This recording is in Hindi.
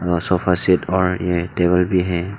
और सोफा सेट और ये टेबल भी है।